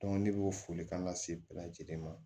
ne b'o foli kan ka se bɛɛ lajɛlen ma